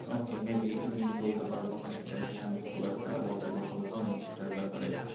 okay maybe আমি বলতে পারবো না সেটা নিয়ে। আমি খুব একটা ওয়াকিবহাল নোই সেটার ব্যাপারে।